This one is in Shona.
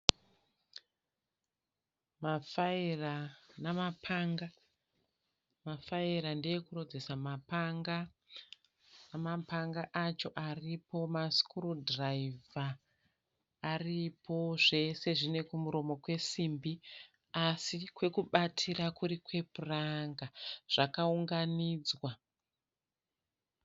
Mafayira namapanga. Mafayira ndeekurodzesa mapanga. Mapanga acho aripo. Masikurudhiraivha aripo. Zvese zvine kumuromo kwesimbi asi kwekubatira kuri kwepuranga. Zvakaunganidzwa.